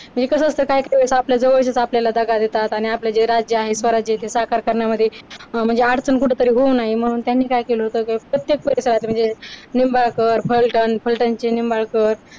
म्हणजे कसं असतं काय काय वेळेला आपल्या जवळचे आपल्याला दगा देतात आणि आपलं जे राज्य स्वराज्य ते साकार करण्यामध्ये म्हणजे अडचण कुठेतरी होऊ नये म्हणून त्यांनी काय केलं होतं प्रत्येक परिसरात म्हणजे निंबाळकर, फलटण, फलटणचे निंबाळकर